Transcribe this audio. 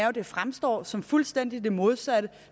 at det fremstår som det fuldstændig modsatte